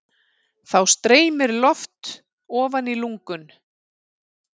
Þá streymir loft ofan í lungun.